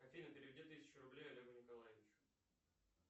афина переведи тысячу рублей олегу николаевичу